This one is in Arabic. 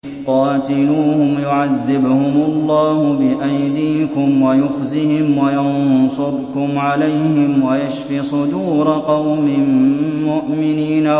قَاتِلُوهُمْ يُعَذِّبْهُمُ اللَّهُ بِأَيْدِيكُمْ وَيُخْزِهِمْ وَيَنصُرْكُمْ عَلَيْهِمْ وَيَشْفِ صُدُورَ قَوْمٍ مُّؤْمِنِينَ